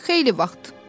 Xeyli vaxt.